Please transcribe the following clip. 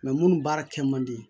minnu baara kɛ man di